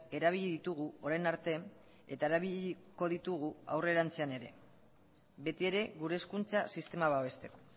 erabili ditugu orain arte eta erabiliko ditugu aurrerantzean ere beti ere gure hezkuntza sistema babesteko